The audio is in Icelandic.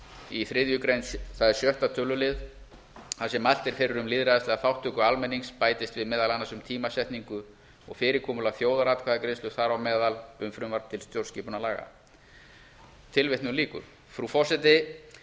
í þriðju grein það er sjötta tölulið þar sem mælt er fyrir um lýðræðislega þátttöku almennings bætist meðal annars um tímasetningu og fyrirkomulag þjóðaratkvæðagreiðslu þar á meðal um frumvarp til stjórnarskipunarlaga frú forseti